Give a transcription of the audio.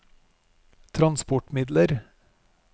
transportmidler